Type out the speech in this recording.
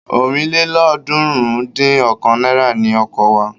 ọ̀rìnlélọ́ọ̀ọ́dúnrún-dín-ọ̀kan náírà ni ọkọ̀ wa.